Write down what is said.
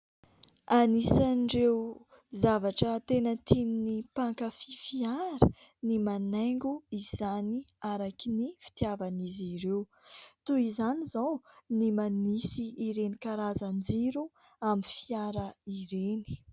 Anisan'ireo zavatra tena tian'ny mpankafy fiara ny manaingo izany araky ny fitiavan'izy ireo, toy izany izao ny manisy ireny karazan-jiro amin'ny fiara ireny.